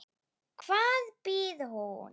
Hvar býr hún?